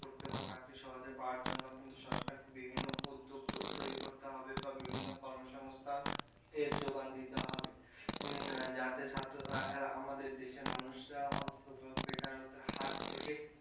করতে বা চাকরি সহজে পাওয়ার জন্য কিন্তু সরকারকে বিভিন্ন উদ্যোগ তৈরি করতে হবে বা বিভিন্ন কর্মসংস্থান এর যোগান দিতে হবে উম যাতে আমাদের দেশের মানুষরা অন্তত বেকারত্বের হাত থেকে,